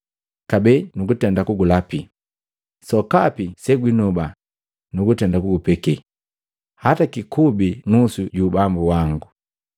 Kabee nu kunndapila, “Sokapi segwinoba nugutenda kugupekea, hata jikubi nusu ju ubambo wango.”